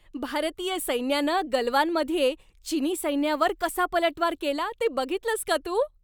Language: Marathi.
भारतीय सैन्यानं गलवानमध्ये चिनी सैन्यावर कसा पलटवार केला ते बघितलंस का तू?